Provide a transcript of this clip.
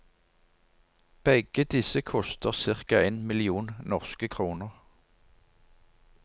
Begge disse koster cirka en million norske kroner.